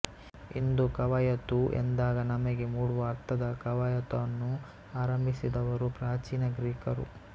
ಇಂದು ಕವಾಯತು ಎಂದಾಗ ನಮಗೆ ಮೂಡುವ ಅರ್ಥದ ಕವಾಯತನ್ನು ಆರಂಭಿಸಿದವರು ಪ್ರಾಚೀನ ಗ್ರೀಕರು